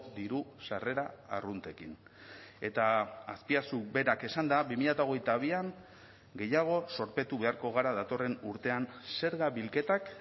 diru sarrera arruntekin eta azpiazu berak esanda bi mila hogeita bian gehiago zorpetu beharko gara datorren urtean zerga bilketak